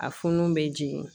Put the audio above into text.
A funun bɛ jigin